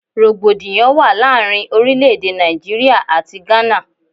Rògbòdìyàn wà láàárín orílẹ̀-èdè Nàìjíríà àti Gana.